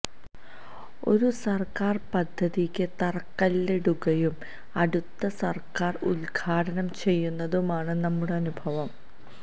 ഒരു സര്ക്കാര് പദ്ധതിക്ക് തറക്കല്ലിടുകയും അടുത്ത സര്ക്കാര് ഉദ്ഘാടനം ചെയ്യുന്നതുമാണ് നമ്മുടെ അനുഭവം